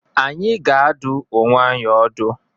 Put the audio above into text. Anyị ga-adụ onwe anyị ọdụ.